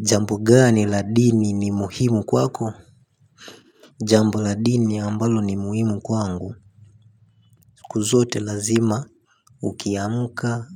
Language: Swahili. Jambo gani la dini ni muhimu kwako? Jambo la dini ambalo ni muhimu kwangu. Kuzote lazima Ukiamuka